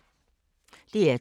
DR2